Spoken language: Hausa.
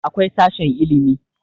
akwai sashen ilimi